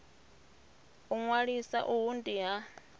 u ṅwalisa uhu ndi ha